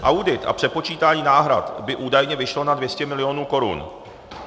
Audit a přepočítání náhrad by údajně vyšly na 200 milionů korun.